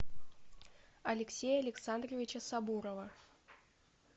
алексея александровича сабурова